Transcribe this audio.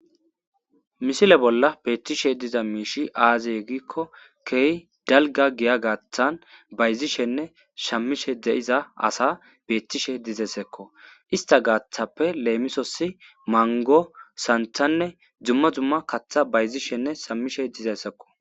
misile bolla beettishe diza miishi aazey gikko kehi dalga giya gaaththan bayzishenne shammishe de7iza asa beettishe dizesekko ista gaaththappe leemisosi mango santhanne dzumma dumma kaththa bayzishenne shammishe dizeyssekko